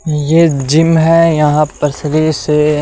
ये जिम हैं यहां पर शरीर से --